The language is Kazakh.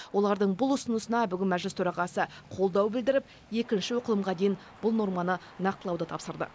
олардың бұл ұсынысына бүгін мәжіліс төрағасы қолдау білдіріп екінші оқылымға дейін бұл норманы нақтылауды тапсырды